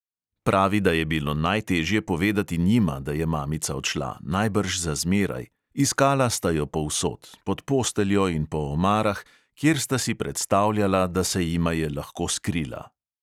Pravi, da je bilo najtežje povedati njima, da je mamica odšla, najbrž za zmeraj: "iskala sta jo povsod, pod posteljo in po omarah, kjer sta si predstavljala, da se jima je lahko skrila."